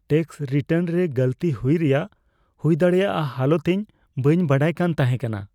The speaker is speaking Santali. ᱴᱮᱠᱥ ᱨᱤᱴᱟᱨᱱ ᱨᱮ ᱜᱟᱹᱞᱛᱤ ᱦᱩᱭ ᱨᱮᱭᱟᱜ ᱦᱩᱭ ᱫᱟᱲᱮᱭᱟᱜ ᱦᱟᱞᱚᱛ ᱤᱧ ᱵᱟᱹᱧ ᱵᱟᱲᱟᱭ ᱠᱟᱱ ᱛᱟᱦᱮᱸ ᱠᱟᱱᱟ ᱾